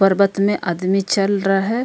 पर्वत में आदमी चल रा है।